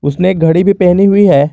उसने एक घड़ी भी पहनी हुई है।